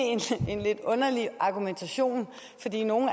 en lidt underlig argumentation at fordi nogle